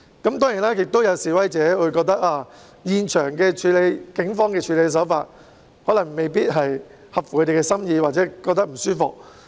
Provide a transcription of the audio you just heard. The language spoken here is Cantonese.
當然，亦有示威者認為警方在現場的處理手法未必合其心意或令他們感到不舒服。